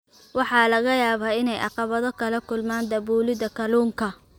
Waxaa laga yaabaa inay caqabado kala kulmaan daabulida kalluunka.